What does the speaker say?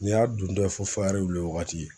N'i y'a dondɔ ye fo fayiri weele wagati.